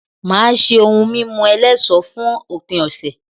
Màá ṣé ohun mímu eléso fún òpin ọ̀sẹ̀